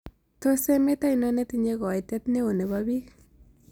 Tos' emet ainon netinye koiitet ne oo ne po piik